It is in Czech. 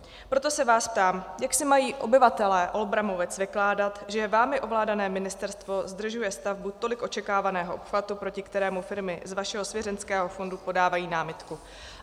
Proto se vás ptám: Jak si mají obyvatelé Olbramovic vykládat, že vámi ovládané ministerstvo zdržuje stavbu tolik očekávaného obchvatu, proti kterému firmy z vašeho svěřenského fondu podávají námitku?